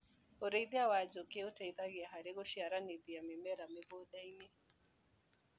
ũrĩithia wa njũkĩ ũteithagia harĩ gũciarithania mĩmera mĩgndainĩ.